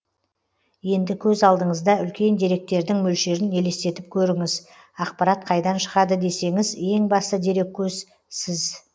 енді көз алдыңызда үлкен деректердің мөлшерін елестетіп көріңіз ақпарат қайдан шығады десеңіз ең басты дереккөз сіз